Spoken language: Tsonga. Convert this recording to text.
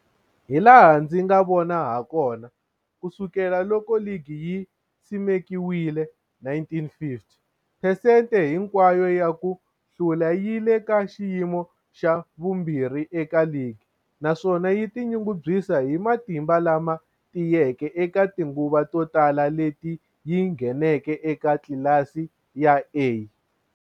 Hilaha ndzi nga vona hakona, ku sukela loko ligi yi simekiwile, 1950 phesente hinkwayo ya ku hlula yi le ka xiyimo xa vumbirhi eka ligi, naswona yi tinyungubyisa hi matimba lama tiyeke eka tinguva to tala leti yi ngheneke eka tlilasi ya A.